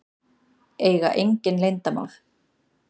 Eiga engin leyndarmál.